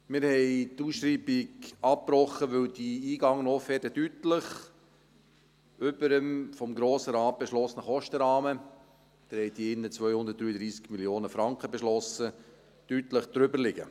Wir haben die Ausschreibung abgebrochen, weil die eingegangenen Offerten deutlich über dem vom Grossen Rat beschlossenen Kostenrahmen – Sie haben hier drin 233 Mio. Franken beschlossen – liegen.